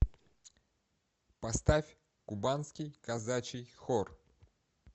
поставь кубанский казачий хор